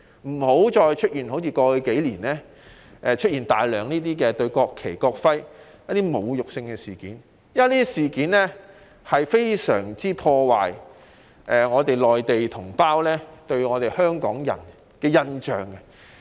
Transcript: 我們千萬要警惕，不能再出現過去數年大肆侮辱國旗、國徽的事件，因這些事件會大大破壞內地同胞對香港人的印象。